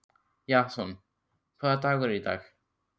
Jason, hvaða dagur er í dag?